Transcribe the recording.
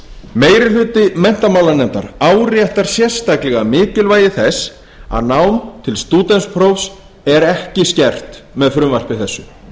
meiri hluti menntamálanefndar áréttar sérstaklega mikilvægi þess að nám til stúdentsprófs er ekki skert með frumvarpi þessu